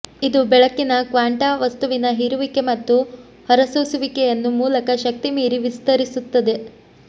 ಇದು ಬೆಳಕಿನ ಕ್ವಾಂಟಾ ವಸ್ತುವಿನ ಹೀರುವಿಕೆ ಮತ್ತು ಹೊರಸೂಸುವಿಕೆಯನ್ನು ಮೂಲಕ ಶಕ್ತಿ ಮೀರಿ ವಿಸ್ತರಿಸುತ್ತದೆ